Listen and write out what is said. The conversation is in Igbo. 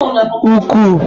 ukwu